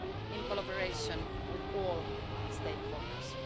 in collaboration with all stakeholders.